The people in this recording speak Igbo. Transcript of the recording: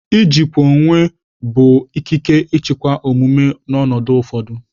Ijikwa onwe onye bụ ikike ịchịkwa omume n'ọnọdụ ụfọdụ.